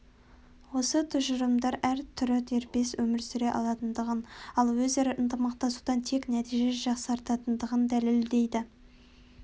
осы тұжырымдар әр түрі дербес өмір сүре алатындығын ал өзара ынтымақтасудан тек нәтиже жақсаратындығын дәлелдейді